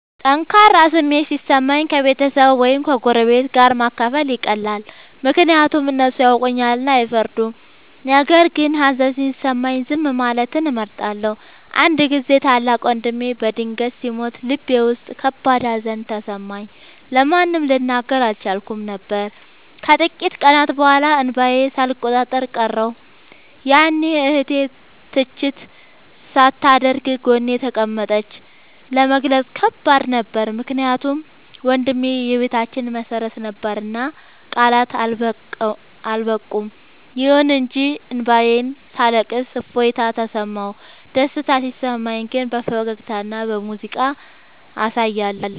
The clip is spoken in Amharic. ጠንካራ ስሜት ሲሰማኝ ከቤተሰብ ወይም ከጎረቤት ጋር ማካፈል ይቀላል፤ ምክንያቱም እነሱ ያውቁኛልና አይፈርዱም። ነገር ግን ሀዘን ሲሰማኝ ዝም ማለትን እመርጣለሁ። አንድ ጊዜ ታላቅ ወንድሜ በድንገት ሲሞት ልቤ ውስጥ ከባድ ሀዘን ተሰማኝ፤ ለማንም ልናገር አልቻልኩም ነበር። ከጥቂት ቀናት በኋላ እንባዬን ሳልቆጣጠር ቀረሁ፤ ያኔ እህቴ ትችት ሳታደርግ ጎኔ ተቀመጠች። ለመግለጽ ከባድ ነበር ምክንያቱም ወንድሜ የቤታችን መሰረት ነበርና ቃላት አልበቁም። ይሁን እንጂ እንባዬን ሳለቅስ እፎይታ ተሰማሁ። ደስታ ሲሰማኝ ግን በፈገግታና በሙዚቃ አሳያለሁ።